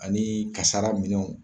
Ani kasara minɛw.